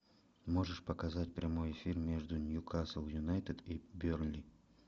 можешь показать прямой эфир между ньюкасл юнайтед и бернли